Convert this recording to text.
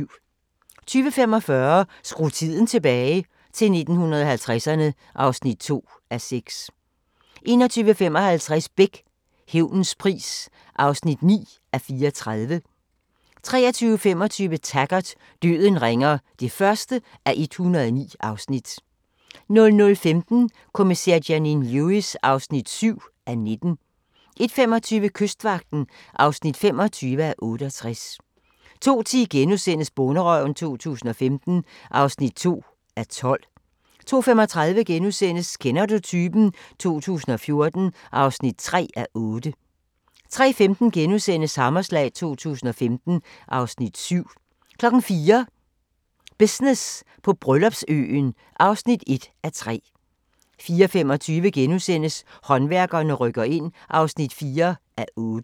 20:45: Skru tiden tilbage – til 1950'erne (2:6) 21:55: Beck: Hævnens pris (9:34) 23:25: Taggart: Døden ringer (1:109) 00:15: Kommissær Janine Lewis (7:19) 01:25: Kystvagten (25:68) 02:10: Bonderøven 2015 (2:12)* 02:35: Kender du typen? 2014 (3:8)* 03:15: Hammerslag 2015 (Afs. 7)* 04:00: Business på Bryllupsøen (1:3) 04:25: Håndværkerne rykker ind (4:8)*